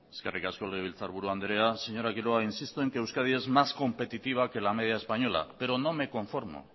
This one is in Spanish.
eskerrik asko legebiltzarburu andrea señora quiroga insisto en que euskadi es más competitiva que la media española pero no me conformo